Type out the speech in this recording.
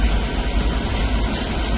Dayanmağa heç vaxt yer verməyin.